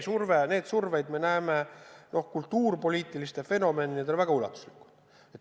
Seda survet me näeme kultuurilis-poliitiliste fenomenidena väga ulatuslikult.